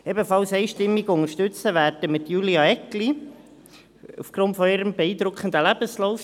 Ebenfalls einstimmig unterstützen werden wir Julia Eggli aufgrund ihres beeindruckenden Lebenslaufs.